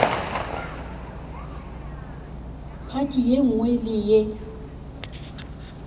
phathi ye nngwe le ye